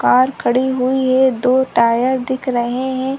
Car खड़ी हुई है दो टायर दिख रहै हैं।